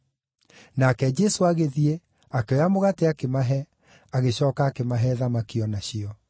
Nake Jesũ agĩthiĩ, akĩoya mũgate akĩmahe, agĩcooka akĩmahe thamaki o nacio.